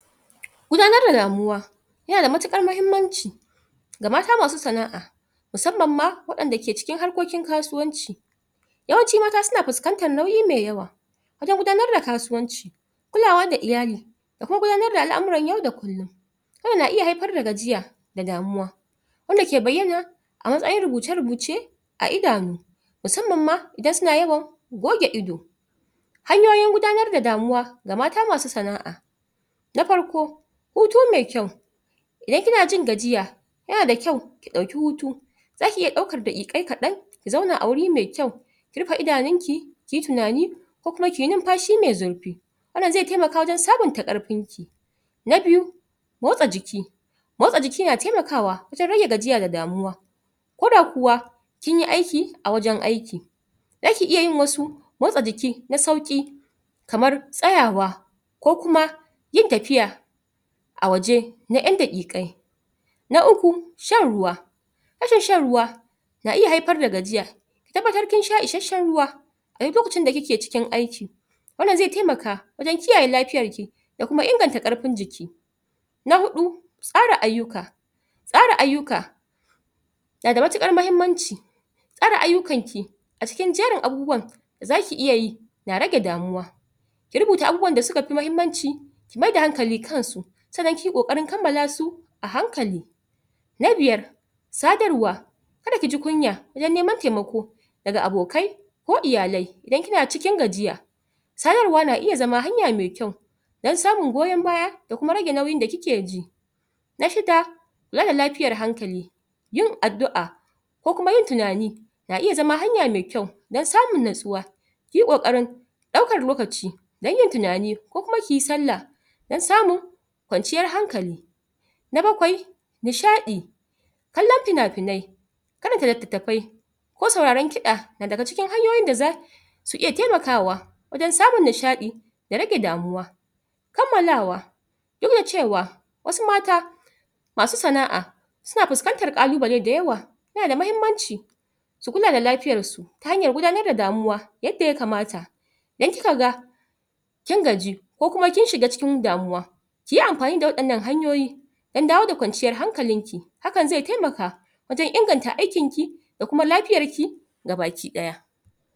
gudanar da damuwa yana da matukar mahimmanci ga mata masu sanaa musamman ma wayanda ke cikin harkokin kasuwanci yawan cin mata na fuskantan nauyi mai yawa wajen kudanar da kasuwanci kulawa da iyali da kuma gudanar da alamuran yau da kullun, hakan na iya haifar da gajiya da kuma gudanar da alamuran yau da kullun, hakan na iya haifar da gajiya da damuwa da kuma gudanar da alamuran yau da kullun, hakan na iya haifar da gajiya da damuwa wanda ke baiyana a matsayin rubuce-rubuce a idanu musamman ma idan suna yawan goge ido hanyoyin ngudanar da damuwa ga mata masu sanaa na farko hutu mai kyau idan kina jin gajiya yana da kyau dauki hutu, zaki iya daukan dai'ai kadan ki zauna a waje mai kyau ki rufe idanki kiyi tunani ko kuma kiyi hinfashi mai zurfi wan nan zai taimaka wajen sabunta karfinki na biyu motsa jiki motsa jiki na taimakwa wajen rage gajiya da damuwa koda kuwa kinyi aiki a wajen aiki zaki iya yin wasu motsa jikin na sauki kamar tsayawa ko kuma yin tafiya a waje na yan dakikai na uku shanruwa rashin shan ruwa na iya haifar da gajiya ki tabbatar kin sha isheshshen ruwa duk lokacin da kike cikin aiki wan nan zai taimaka wajen kiyaye lafiyarki da kuma inganta karfin jiki na hudu tsara aiyuka tsara aiyuka na da matukar mahimmanci tsara aiyukanki a cikin jerin abubuwan da zaku iya yi na rage damuwa ki rubuta abubuwan da suka fi mahimmanci ki maida hankali kan su san nan kiyi kokarin kalmalasu a hankali na biyar sadarwa kada ki ji kunya wajen neman taimako daga abokai ko iyalai idan kina cikin gajiya nasarwa na iya zama hanya mai kyau dan samun goyon baya da kuma rage nauyin da kike ji na shida auna lafiyar hankali yin adua ko kuma yin tunani na iya zama hanya mai kyau dan samun natsuwa kiyi kokarin daukan lokaci dan yin tunanmi, ko kuma kiyi sallah dan samun kwanciyan hankali na bakwai nishai kallon fina-finai karanta littatafai ko sauraron kida na daga cikin hanyoyin ko sauraron kida na daga cikin hanyoyin da zasu iya taimakawa wajen samun nishai da rage damuwa kammalawa dudacewa wasu mata masu sanaa suna fuskantan kalubale da yawa yana da mahimmanci su kula da lafiyan su ta hanyar damuwa yadda ya kamata in kika ga kin kin gaji, ko kuma kin shiga cikin damuwa kiyi anfani da wayan nan hanyoyi dan dawo da kwanciyar hankalinki hakan zai taimaka wajen inganta aikin ki, da kuma lafiyan ki gabaki daya